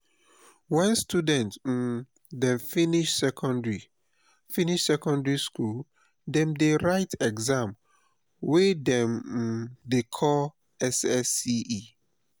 wen student um dem finish secondary finish secondary skool dem dey write exam wey dem um dey call ssce.